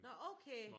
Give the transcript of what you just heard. Nå okay!